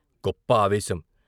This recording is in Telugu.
గొప్ప ఆవేశం.